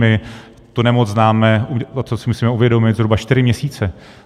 My tu nemoc známe, a to si musíme uvědomit, zhruba čtyři měsíce.